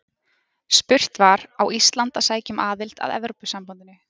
Spurt var: Á Ísland að sækja um aðild að Evrópusambandinu?